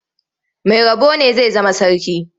Mai rabo ne zai zama sarki.